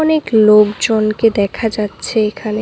অনেক লোকজনকে দেখা যাচ্ছে এখানে।